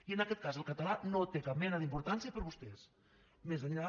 i en aquest cas el català no té cap mena d’importància per vostès més enllà